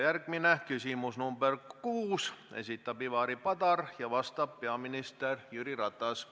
Järgmine küsimus, nr 6, esitab Ivari Padar ja vastab peaminister Jüri Ratas.